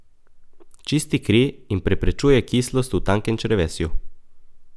Čisti kri in preprečuje kislost v tankem črevesju.